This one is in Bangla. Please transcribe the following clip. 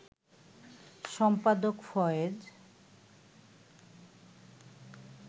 সম্পাদক ফয়েজ